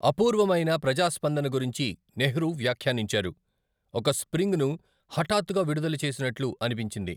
అపూర్వమైన ప్రజా స్పందన గురించి నెహ్రూ వ్యాఖ్యానించారు, 'ఒక స్ప్రింగ్ ను హఠాత్తుగా విడుదల చేసినట్లు అనిపించింది.